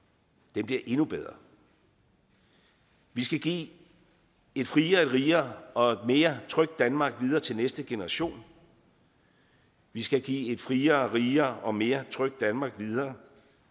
bliver endnu bedre vi skal give et friere rigere og mere trygt danmark videre til næste generation vi skal give et friere rigere og mere trygt danmark videre